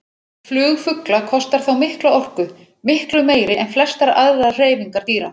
Flug fugla kostar þá mikla orku, miklu meiri en flestar aðrar hreyfingar dýra.